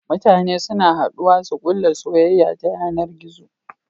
Mutane suna haduwa su kulla soyayya ta yanar gizo